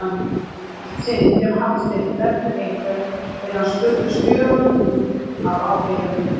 Í hvert sinn sem Hafsteinn nefnir einhvern, er hann spurður spjörunum úr af áheyrendum.